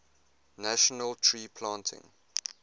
national tree planting